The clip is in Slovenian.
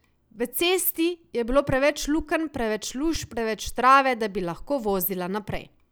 V cesti je bilo preveč lukenj, preveč luž, preveč trave, da bi lahko vozila naprej.